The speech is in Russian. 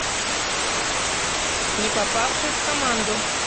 не попавший в команду